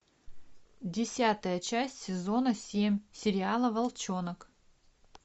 десятая часть сезона семь сериала волчонок